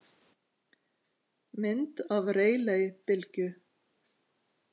Mynd af Rayleigh-bylgju.